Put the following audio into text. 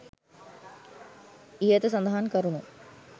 ඉහත සඳහන් කරුණු